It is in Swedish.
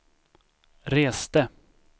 reste